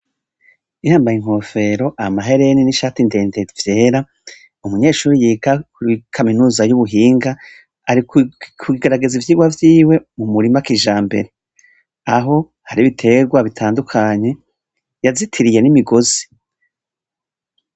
Yambaye inkofero, amahereni n'ishati ndende vyera, umunyeshuri yiga kuri kaminuza y'ubuhinga, Ari kugerageza ivyirwa vyiwe mu murima kijambere. Aho hari ibiterwa bitandukanye yazitiriye n'imigozi.